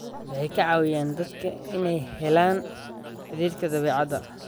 Waxay ka caawiyaan dadka inay helaan xidhiidhka dabeecadda.